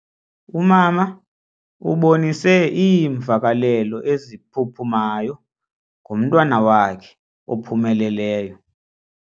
Umama ubonise iimvakalelo eziphuphumayo ngomntwana wakhe ophumeleleyo.